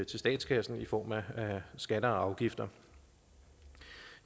til statskassen i form af skatter og afgifter